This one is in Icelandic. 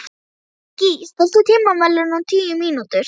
Gígí, stilltu tímamælinn á tíu mínútur.